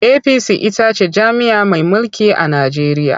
APC ita ce jam'iyya mai mulki a Najeriya.